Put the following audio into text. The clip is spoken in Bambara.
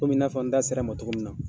Komi in naa fɔ n da sera ma togo min na